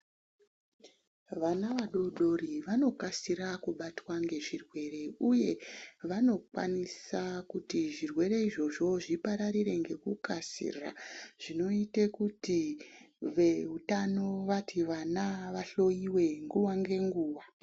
Vana vadodori vanokasira kubatwa ngezvirwere uye ,vanokwanisa kuti zvirwere izvozvo zvipararire ngekukasira, zvinoite kuti veutano vati, vana vahloiwe nguwa ngenguwa.